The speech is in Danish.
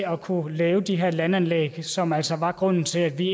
at kunne lave de her landanlæg som altså var grunden til at vi i